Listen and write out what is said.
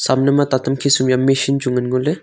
kamnyu ma ta tam khisum machine chu ngan ngole.